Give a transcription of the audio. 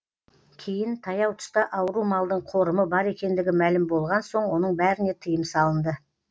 кейін таяу тұста ауру малдың қорымы бар екендігі мәлім болған соң оның бәріне тыйым салынды